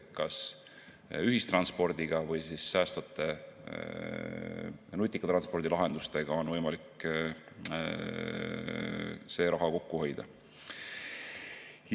Ka ühistranspordiga ja muude säästvate nutikate transpordilahendustega on võimalik raha kokku hoida.